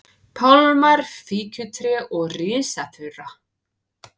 pálmar, fíkjutré og risafura.